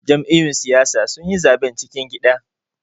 Jam'iyyun siyasa sun yi zaben cikin gida.